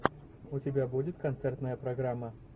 у тебя будет концертная программа